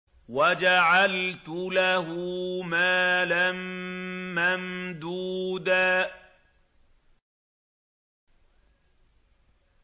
وَجَعَلْتُ لَهُ مَالًا مَّمْدُودًا